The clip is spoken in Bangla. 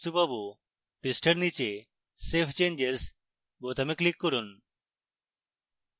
পৃষ্ঠার নীচে save changes বোতামে click করুন